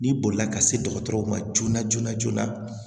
N'i bolila ka se dɔgɔtɔrɔw ma joona joona joona